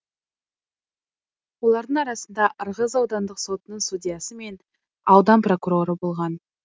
олардың арасында ырғыз аудандық сотының судьясы мен аудан прокуроры болған